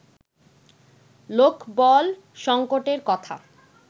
লোকবল সঙ্কটের কথা